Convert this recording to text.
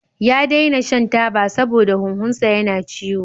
Ya daina shan taba saboda huhunsa yana ciwo.